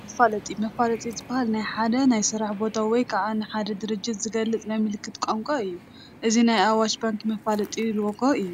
መፋለጢ፡- መፋለጢ ዝባሃል ንናይ ሓደ ናይ ስራሕ ቦታ ወይ ከዓ ንሓደ ድርጅት ዝገልፅ ናይ ምልክት ቋንቋ እዩ፡፡ እዚ ናይ ኣዋሽ ባንኪ መፋለጢ ሎጎ እዩ፡፡